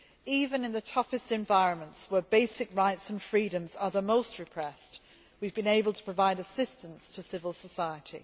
Even in the toughest environments, where basic rights and freedoms are the most repressed, we have been able to provide assistance to civil society.